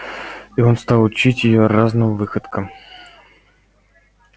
и он стал учить её разным выходкам